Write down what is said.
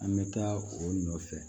An bɛ taa o nɔfɛ